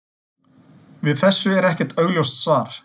Við þessu er ekkert augljóst svar.